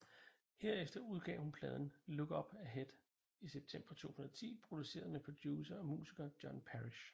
Herefter udgav hun pladen Look Up Ahead i september 2010 produceret med producer og musiker John Parish